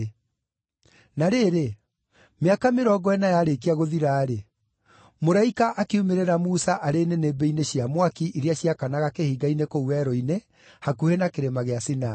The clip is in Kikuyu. “Na rĩrĩ, mĩaka mĩrongo ĩna yarĩkia gũthira-rĩ, mũraika akiumĩrĩra Musa arĩ nĩnĩmbĩ-inĩ cia mwaki iria ciakanaga kĩhinga-inĩ kũu werũ-inĩ hakuhĩ na Kĩrĩma gĩa Sinai.